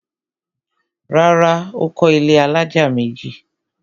Rárá, Ó kọ́ ilẹ́ alájà méjì